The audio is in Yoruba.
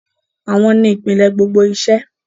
Àwọn ni ìpìlẹ̀ gbogbo iṣẹ́.